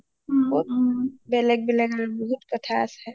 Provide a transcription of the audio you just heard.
বেলেগ বেলেগ আৰু বহুত কথা আছে